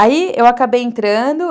Aí, eu acabei entrando.